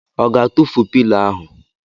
Ọ ga-atụfu pilo ahụ?